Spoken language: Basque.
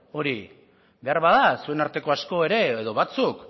hori beharbada zuen arteko asko ere edo batzuk